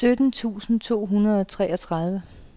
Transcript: sytten tusind to hundrede og treogtredive